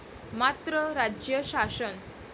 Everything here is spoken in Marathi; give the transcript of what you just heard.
मात्र राज्य शासन.